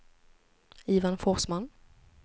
Ivan Forsman